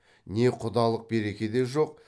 не құдалық береке де жоқ